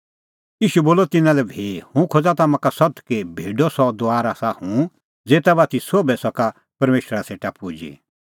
ईशू बोलअ तिन्नां लै भी हुंह खोज़ा तम्हां का सत्त कि भेडो सह दुआर आसा हुंह ज़ेता बाती सोभै सका परमेशरा सेटा पुजी